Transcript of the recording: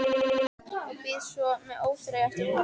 Og bíð svo með óþreyju eftir vorinu.